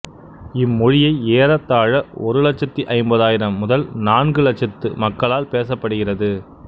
இம்மொழியை ஏறத்தாழ ஒரு இலச்சத்து ஐம்பதாயிரம் முதல் நான்கு இலச்சத்து மக்களால் பேசப்படுகிறது